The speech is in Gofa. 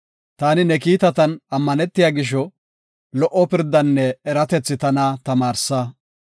Taani ne kiitatan ammanetiya gisho, lo77o pirdanne eratethi tana tamaarsa.